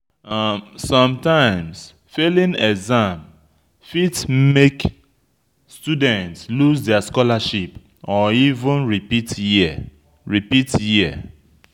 Sometimes failing exam fit make student lose their scholarship or even repeat year repeat year